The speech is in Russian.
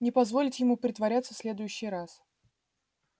не позволить ему притворяться в следующий раз